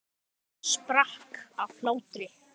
Hann sprakk af hlátri.